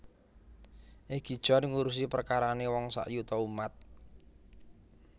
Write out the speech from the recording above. Egi John ngurusi perkarane wong sayuta umat